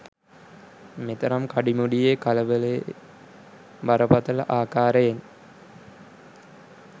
මෙතරම් කඩිමුඩියේ කලබලයේ බරපතල ආකාරයෙන්